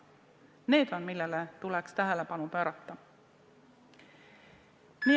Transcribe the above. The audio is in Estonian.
Need on need asjad, millele tuleks tähelepanu pöörata.